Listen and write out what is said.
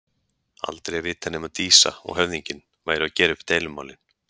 Aldrei að vita nema Dísa og höfðinginn væru að gera upp deilumálin.